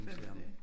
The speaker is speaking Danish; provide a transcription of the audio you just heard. Hvem er det?